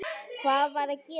Hvað var að gerast þar?